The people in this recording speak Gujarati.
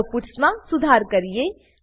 ચાલો પટ્સ માં સુધાર કરીએ